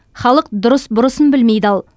халық дұрыс бұрысын білмей дал